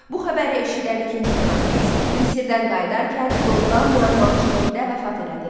Bu xəbəri eşidən ikinci Kambiz Misirdən qayıdarkən yolda müəmmalı şəkildə vəfat elədi.